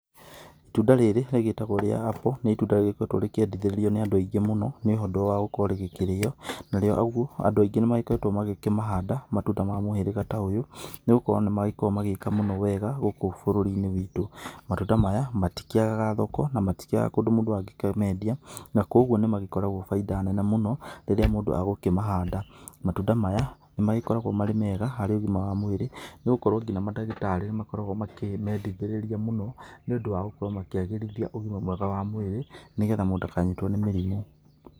Itunda rĩrĩ rĩgĩtagwo rĩa apple nĩ itunda rĩkoretwo rĩkĩendithĩrĩrio nĩ andũ aingĩ mũno nĩ ũndũ wa gũkorwo rĩgĩkĩrĩo. Narĩo ũguo andũ aingĩ nĩ magĩkoretwo magĩkĩmahanda matunda ma mũhĩrĩga ta ũyũ nĩ ũndũ nĩ gũkorwo nĩ magĩkoragwo magĩka mũno wega gũkũ bũrũri-inĩ witũ. Matunda maya matikĩagaga thoko na matikĩagaga kũndũ mũndũ angĩkĩmendia, na koguo nĩ magĩkoragwo bainda nene mũno rĩrĩa mũndũ agũkĩmahanda. Matunda maya nĩ magĩkoragwo marĩ mega harĩ ũgima wa mwĩrĩ nĩ gũkorwo ngina mandagĩtarĩ nĩ makoragwo makĩmendithĩrĩria mũno. nĩ ũndũ wa gũkorwo makĩagĩrithia ũgĩma wa mwĩrĩ nĩ getha mũndũ ndakanyitwo nĩ mĩrimũ.